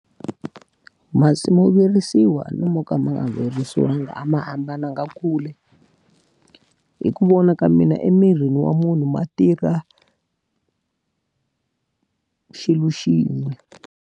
Masi mo virisiwa no mo ka ma nga virisiwangi a ma hambananga kule, hi ku vona ka mina emirini wa munhu ma tirha xilo xin'we.